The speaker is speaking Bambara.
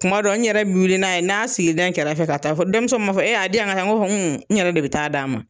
Kuma dɔw n yɛrɛ bi wili n'a ye n'a sigi dɛ n kɛrɛfɛ ka taa denmisɛnw b'a fɔ e a di yan n ka taa n b'a fɔ n yɛrɛ de bi taa d'a ma.